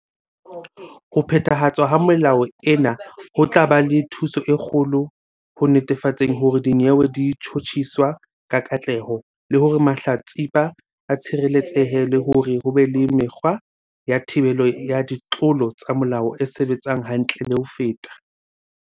"Ho phethahatswa ha melao ena ho tla ba le thuso e kgolo ho netefatseng hore dinyewe di tjhotjhiswa ka katleho, le hore mahlatsipa a tshireletsehe le hore ho be le mekgwa ya thibelo ya ditlolo tsa molao e sebetsang hantle le ho feta."